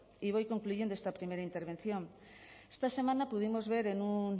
y voy concluyendo esta primera intervención esta semana pudimos